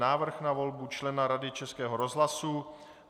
Návrh na volbu člena Rady Českého rozhlasu